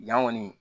Yan ŋɔni